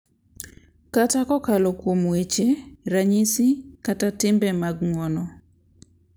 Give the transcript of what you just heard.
Kata kokalo kuom weche, ranyisi, kata timbe mag ng’wono, .